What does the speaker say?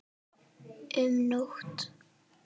Um nótt